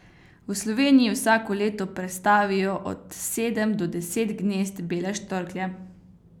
V Sloveniji vsako leto prestavijo od sedem do deset gnezd bele štorklje.